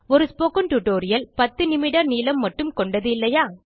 ஒரு spoken tutorial 10 நிமிட நீளம் மட்டும் கொண்டது இல்லையா